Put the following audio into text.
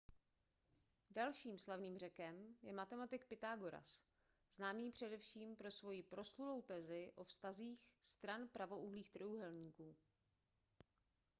dalším slavným řekem je matematik pythagoras známý především pro svoji proslulou tezi o vztazích stran pravoúhlých trojúhelníků